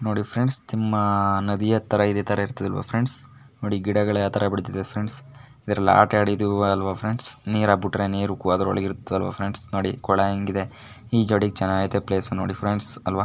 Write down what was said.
ನೋಡಿ ಫ್ರೆಂಡ್ಸ್ ನಿಮ್ಮ ನದಿ ಹತ್ರ ಇದೆ ತಾರಾ ಇರತ್ತೆ ಅಲ್ವ ಫ್ರೆಂಡ್ಸ್ ಗಿಡಗಳು ಯಾವ್ ಟ್ರಾ ಇದೆ ಅದರೊಳಗೆ ಆಟ ಆಡಿದೀವಿ ಅಲ್ವ ಫ್ರೆಂಡ್ಸ್ ಕೋಲಾ ಹೇಗಿದೆ ಈ ಜೋಡಿಯಾಕ್ಕೆ ಪ್ಲೇಸ್ ಚೆನ್ನಾಗಿದೆ ಫ್ರೆಂಡ್ಸ್.